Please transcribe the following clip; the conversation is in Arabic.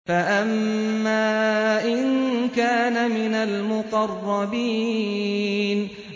فَأَمَّا إِن كَانَ مِنَ الْمُقَرَّبِينَ